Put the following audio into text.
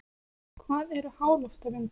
Hvað eru háloftavindar?